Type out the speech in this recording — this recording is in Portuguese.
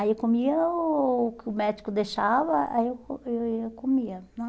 Aí eu comia o que o médico deixava, aí eu co aí eu ia comia, né?